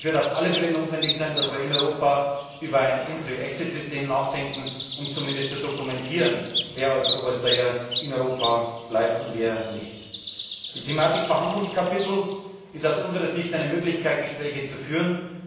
Es wird auf alle Fälle notwendig sein, dass wir in Europa über ein Entry Exit System nachdenken, um zumindest zu dokumentieren, wer als Overstayer in Europa bleibt und wer nicht. Die Thematik Verhandlungskapitel ist aus unserer Sicht eine Möglichkeit, Gespräche zu führen.